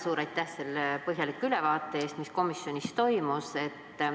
Suur aitäh põhjaliku ülevaate eest, mis komisjonis toimus!